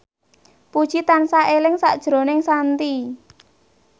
Puji tansah eling sakjroning Shanti